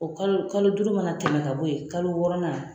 O kalo kalo duuru mana tɛmɛ ka bɔ yen kalo wɔɔrɔ